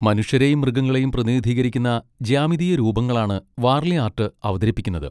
മനുഷ്യരെയും മൃഗങ്ങളെയും പ്രതിനിധീകരിക്കുന്ന ജ്യാമിതീയ രൂപങ്ങളാണ് വാർലി ആർട്ട് അവതരിപ്പിക്കുന്നത്.